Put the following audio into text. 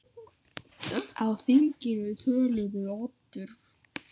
Á þinginu töluðu Oddur